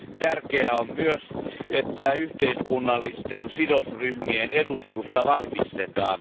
Tärkeää on myös, että yhteiskunnallisten sidosryhmien edustusta vahvistetaan.